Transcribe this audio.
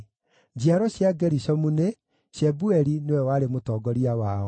Njiaro cia Gerishomu nĩ: Shebueli nĩwe warĩ mũtongoria wao.